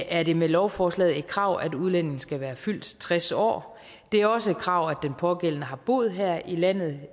er det med lovforslaget et krav at udlændingen skal være fyldt tres år det er også et krav at den pågældende har boet her i landet